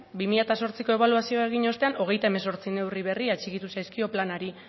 bi mila hemezortziko ebaluazioa egin ostean hogeita hemezortzi neurri berri atxikitu zaizkio planari